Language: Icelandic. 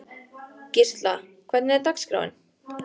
Gísla, hvernig er dagskráin?